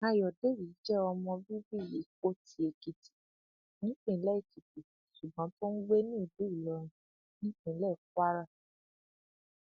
ayọdèjì jẹ ọmọ bíbí ìpótì èkìtì nípìnlẹ èkìtì ṣùgbọn tó ń gbé ní ìlú ìlọrin nípínlẹ kwara